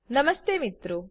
નમસ્તે મિત્રો